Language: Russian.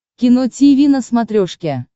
кино тиви на смотрешке